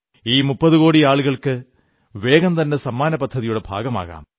ഈ 30 കോടി ആളുകൾക്ക് വേഗംതന്നെ സമ്മാന പദ്ധതിയുടെ ഭാഗമാകാം